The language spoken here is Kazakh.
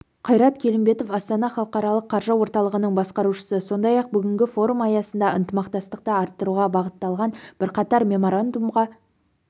қайрат келімбетов астана халықаралық қаржы орталығының басқарушысы сондай-ақ бүгінгі форум аясында ынтымақтастықты арттыруға бағытталған бірқатар меморандумға